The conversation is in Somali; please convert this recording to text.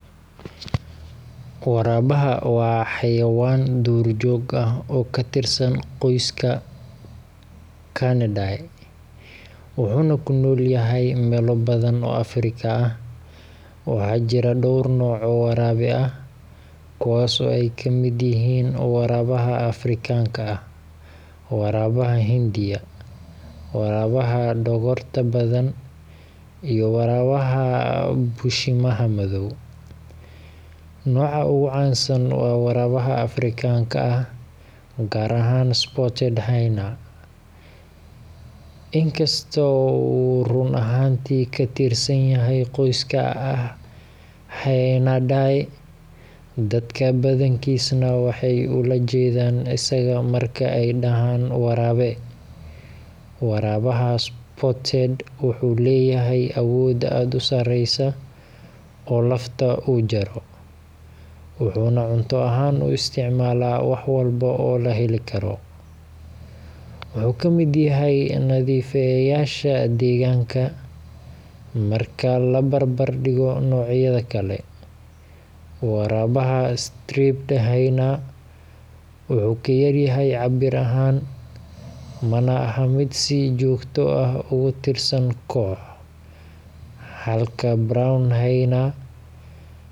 Waraabaha waa xayawaan duurjoog ah oo ka tirsan qoyska Canidae, wuxuuna ku nool yahay meelo badan oo Afrika ah. Waxaa jira dhowr nooc oo waraabe ah, kuwaas oo ay ka mid yihiin waraabaha Afrikaanka ah, waraabaha Hindiya, waraabaha dhogorta badan, iyo waraabaha bushimaha madow. Nooca ugu caansan waa waraabaha Afrikaanka ah, gaar ahaan spotted hyena, inkasta oo uu run ahaantii ka tirsan yahay qoyska Hyaenidae, dadka badankiisna waxay ula jeedaan isaga marka ay dhahaan waraabe. Waraabaha spotted wuxuu leeyahay awood aad u sareysa oo lafta uu jaro, wuxuuna cunto ahaan u isticmaalaa wax walba oo la helikaro – wuxuu ka mid yahay nadiifiyeyaasha deegaanka. Marka la barbar dhigo noocyada kale, waraabaha striped hyena wuxuu ka yar yahay cabbir ahaan, mana aha mid si joogto ah uga tirsan koox, halka brown hyena.